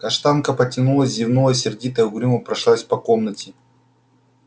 каштанка потянулась зевнула и сердитая угрюмо прошлась по комнате